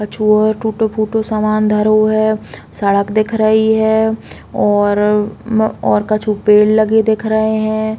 कछु और टूटो -फूटो समान धरो है। सड़क दिख रही है और कछु पेड़ लगे दिख रहे हैं।